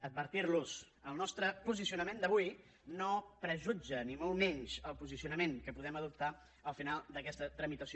advertir los el nostre posicionament d’avui no prejutja ni molt menys el posicionament que podem adoptar al final d’aquesta tramitació